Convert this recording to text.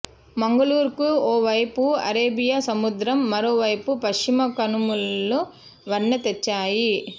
మంగళూరు కు ఒకవైపు అరేబియా సముద్రం మరోవైపు పశ్చిమ కనుమలు వన్నె తెచ్చాయి